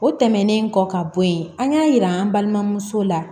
O tɛmɛnen kɔ ka bɔ yen an y'a yira an balimamuso la